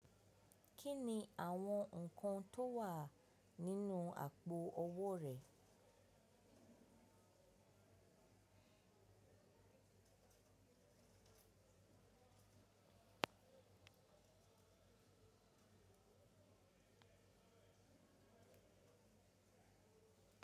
Kí ni àwọn nǹkan tó wà nínú àpò owó rẹ?